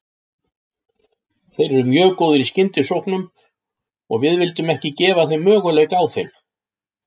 Þeir eru mjög góðir í skyndisóknum og við vildum ekki gefa þeim möguleika á þeim.